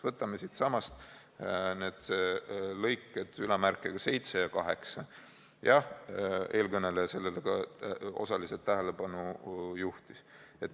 Võtame siitsamast punktid 27 ja 28, millele ka eelkõneleja juba osaliselt tähelepanu juhtis.